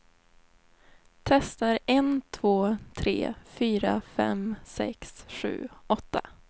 Testar en två tre fyra fem sex sju åtta.